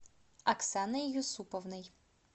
оксаной юсуповной